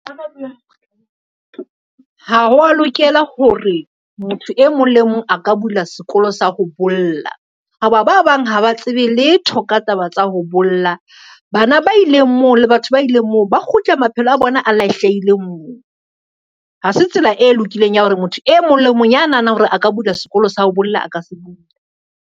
Ha wa lokela hore motho e mong le mong a ka bula sekolo sa ho bolla, ho ba ba bang ha ba tsebe letho ka taba tsa ho bolla, bana ba ileng moo le batho ba ileng moo ba kgutle maphelo a bona lahlehile moo. Ha se tsela e lokileng ya hore motho e mong le mong ya nahanang hore a ka bula sekolo sa ho bolla, a ka se bula.